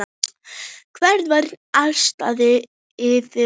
Hver var ástæðan fyrir því?